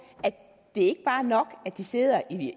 at det ikke bare er nok at de sidder i